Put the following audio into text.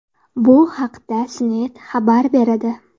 Bu haqda CNET xabar beradi .